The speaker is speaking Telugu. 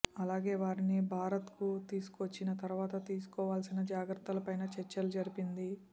అలాగే వారిని భారత్కు తీసుకొచ్చిన తర్వాత తీసుకోవాల్సిన జాగ్రత్తలపైనా చర్చలు జరిపింది